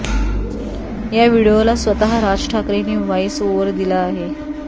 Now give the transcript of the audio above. या व्हिडीओला स्वतः राज ठाकरेंनी व्हॉईस ओव्हर दिला आहे